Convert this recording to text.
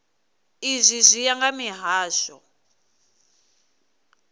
izwi zwi ya nga mihasho